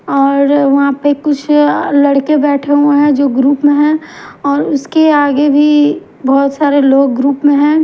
और वहां पे कुछ अ लड़के बैठे हुए हैं जो ग्रुप में हैं और उसके आगे भी बहुत सारे लोग ग्रुप में हैं।